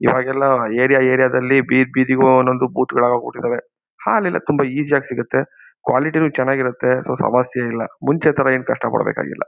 ಇವಾಗೆಲ್ಲ area area ದಲ್ಲಿ ಬೀದಿ ಬೀದಿಗೂ ಒಂದೊಂದು ಬೂತ್ ಗಳಾಗೋಗ್ ಬಿಟ್ಟಿದ್ದಾವೆ. ಹಾಲೆಲ್ಲ ತುಂಬಾ ಈಜಿ ಯಾಗಿ ಸಿಗುತ್ತೆ. ಕ್ವಾಲಿಟಿ ನು ಚೆನ್ನಾಗಿರತ್ತೆ ಸಮಸ್ಯೆ ಇಲ್ಲ ಮುಂಚೆ ತರ ಏನು ಕಷ್ಟ ಪಡಬೇಕಾಗಿಲ್ಲ.